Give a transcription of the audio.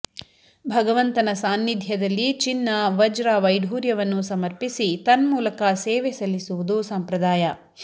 ಭಗವಂತನ ಸಾನ್ನಿಧ್ಯದಲ್ಲಿ ಚಿನ್ನ ವಜ್ರ ವೈಢೂರ್ಯವನ್ನು ಸಮರ್ಪಿಸಿ ತನ್ಮೂಲಕ ಸೇವೆ ಸಲ್ಲಿಸುವುದು ಸಂಪ್ರದಾಯ